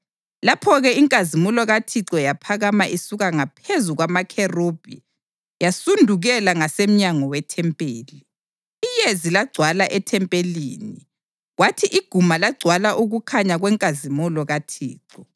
Lapho-ke inkazimulo kaThixo yaphakama isuka ngaphezu kwamakherubhi yasudukela ngasemnyango wethempeli. Iyezi lagcwala ethempelini, kwathi iguma lagcwala ukukhanya kwenkazimulo kaThixo.